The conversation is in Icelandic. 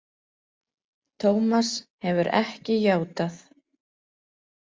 Tómas hefur ekki játað.